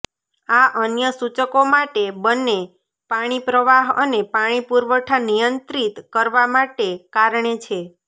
આ અન્ય સૂચકો માટે બંને પાણી પ્રવાહ અને પાણી પુરવઠા નિયંત્રિત કરવા માટે કારણે છે